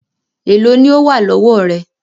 Èló ni ó wà lọ́wọ́ rẹ?